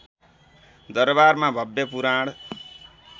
दरबारमा भव्य पुराण